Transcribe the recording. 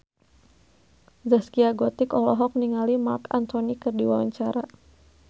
Zaskia Gotik olohok ningali Marc Anthony keur diwawancara